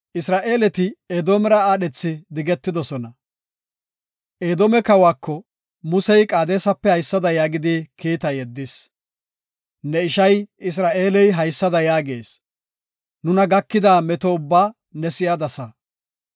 Edoome kawako Musey Qaadesape haysada yaagidi kiita yeddis. “Ne ishay Isra7eeley haysada yaagees; nuna gakida meto ubbaa ne si7adasa.